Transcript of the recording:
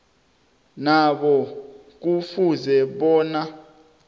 nabo kufuze bona